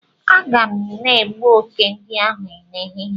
Ee, a ga m na egbu oke ndi ahu n'ehihie